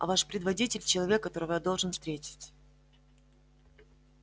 а ваш предводитель человек которого я должен встретить